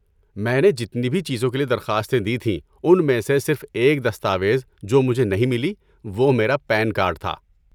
میں نے جتنی بھی چیزوں کے لیے درخواستیں دی تھیں، ان میں سے صرف ایک دستاویز جو مجھے نہیں ملی وہ میرا پین کارڈ تھا۔